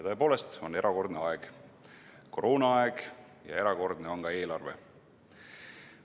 Tõepoolest on erakordne aeg, koroonaaeg, ja erakordne on ka eelarve.